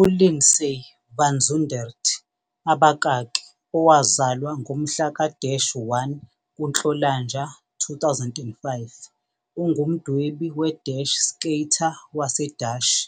ULindsay van Zundert abakaki owazalwa ngomhla ka-1 kuNhlolanja 2005, ungumdwebi we- skater waseDashi.